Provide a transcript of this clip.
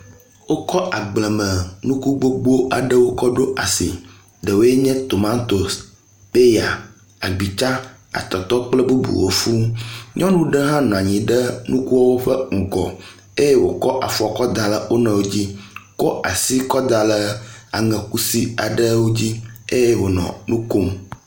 Wokɔ agblemenuku gbogbo aɖewo kɔ ɖo asi, ɖewoe nye tomantos, peya, agbitsa, atɔtɔ kple bubuwo fũu. Nyɔnu ɖe hã nɔanyi ɖe nukuwo ƒe ŋgɔ eye wokɔ afɔ kɔ da ɖe wonɔɛwo dzi, kɔ asi kɔ da aŋe kusi aɖewo dzi eye wonɔ nukom.